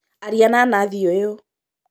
Aria na Nathi ũyũ